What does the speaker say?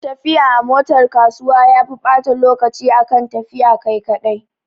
Tafiya a motar kasuwa yafi ɓata lokaci akan tafiya kai kaɗai